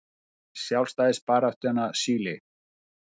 Sjálfstæðisbarátta Chile.